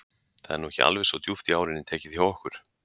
Það er nú ekki alveg svo djúpt í árinni tekið hjá okkur.